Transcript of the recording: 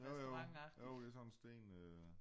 Jo jo jo det sådan sten øh